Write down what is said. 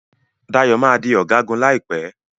Dayo má dì Ọ̀gágun láìpé.